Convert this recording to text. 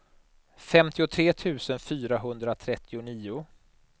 femtiotre tusen fyrahundratrettionio